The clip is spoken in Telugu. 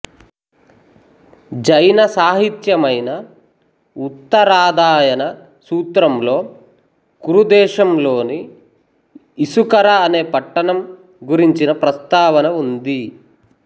జైన సాహిత్యమైన ఉత్తరాధాయన సూత్రంలో కురు దేశంలోని ఇసుకర అనే పట్టణం గురించిన ప్రస్తావన ఉంది